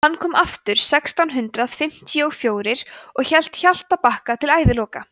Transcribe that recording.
hann kom aftur sextán hundrað fimmtíu og fjórir og hélt hjaltabakka til æviloka